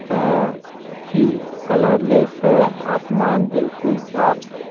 काफी कलरलेस है आसमान बिल्कुल साफ है।